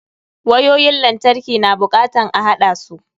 Wayoyin lantarki na bukatan a haɗasu.